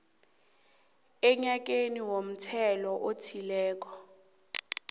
enyakeni womthelo othileko